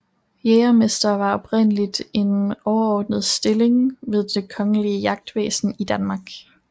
Jægermester var oprindelig en overordnet stilling ved det kongelige jagtvæsen i Danmark